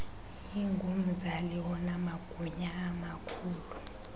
ingumzali onamagunya amakhulu